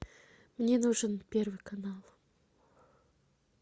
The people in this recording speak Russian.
мне нужен первый канал